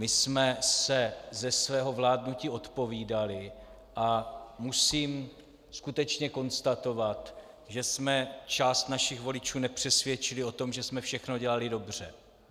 My jsme se ze svého vládnutí odpovídali a musím skutečně konstatovat, že jsme část našich voličů nepřesvědčili o tom, že jsme všechno dělali dobře.